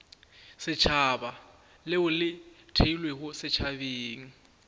setšhaba leo le theilwego setšhabeng